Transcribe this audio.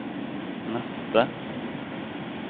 neste